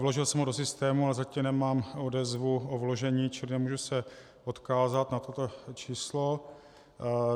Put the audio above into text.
Vložil jsem ho do systému, ale zatím nemám odezvu o vložení, čili nemůžu se odkázat na toto číslo.